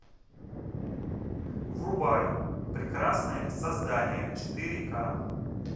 врубай прекрасное создание четыре ка